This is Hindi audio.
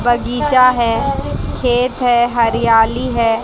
बगीचा है खेत है हरियाली है।